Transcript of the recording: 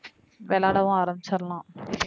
விளையாடவும் ஆரம்பிச்சர்லாம்.